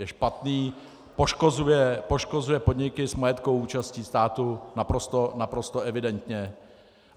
Je špatný, poškozuje podniky s majetkovou účastí státu naprosto evidentně.